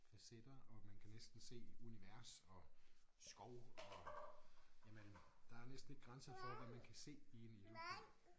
Facetter og man kan næsten se univers og skov og jamen der er næsten ikke grænser for hvad man kan se i en ildopal